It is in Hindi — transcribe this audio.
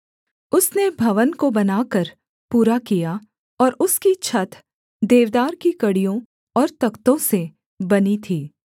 उसने भवन को बनाकर पूरा किया और उसकी छत देवदार की कड़ियों और तख्तों से बनी थी